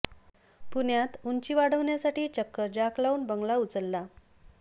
पुण्यात उंची वाढवण्यासाठी चक्क जॅक लावून बंगला उचलला